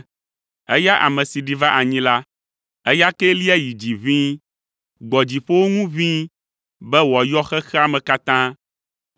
Eya ame si ɖi va anyi la, eya kee lia yi dzi ʋĩi, gbɔ dziƒowo ŋu ʋĩi, be wòayɔ xexea me katã.)